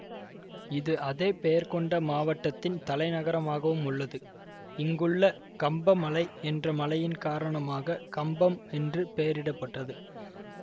இது அதே பெயர் கொண்ட மாவட்டத்தின் தலைநகரமாகவும் உள்ளது இங்குள்ள கம்ப மலை என்ற மலையின் காரணமாக கம்பம் என்று பெயரிட பட்டது